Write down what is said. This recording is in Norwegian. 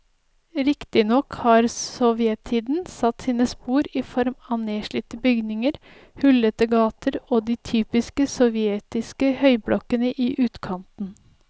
Riktignok har sovjettiden satt sine spor i form av nedslitte bygninger, hullete gater og de typiske sovjetiske høyblokkene i utkanten.